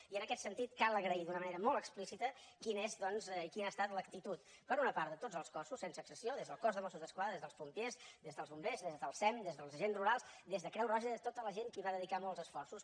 i en aquest sentit cal agrair d’una manera molt explícita quina és doncs i quina ha estat l’actitud per una part de tots els cossos sense excepció des del cos de mossos d’esquadra des dels pompiers des dels bombers des del sem des dels agents rurals des de creu roja de tota la gent que hi va dedicar molts esforços